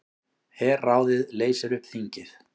Herráðið leysir upp þingið